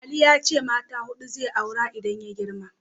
Ali ya ce mata huɗu zai aura idan ya girma.